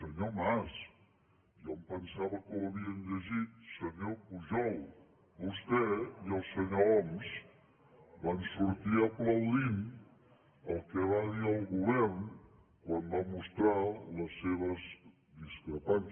senyor mas jo em pensava que ho havien llegit senyor pujol vostè i el senyor homs van sortir aplaudint el que va dir el govern quan va mostrar les seves discrepàncies